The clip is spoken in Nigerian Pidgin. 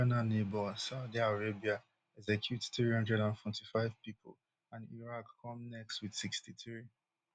iran regional neighbour saudi arabia execute three hundred and forty-five pipo and iraq come next wit sixty-three